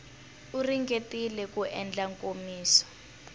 u ringetile ku endla nkomiso